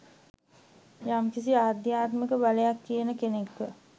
යම්කිසි “ආධ්‍යාත්මික බලයක්” තියන කෙනෙක්ව..